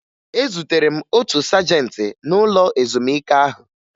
Ezutere m otu sajentị n'ụlọ ezumike ahụ